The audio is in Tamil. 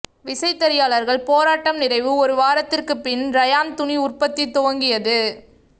விசைத்தறியாளர்கள் போராட்டம் நிறைவு ஒரு வாரத்திற்கு பின் ரயான் துணி உற்பத்தி துவங்கியது